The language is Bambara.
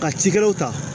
Ka cikɛlaw ta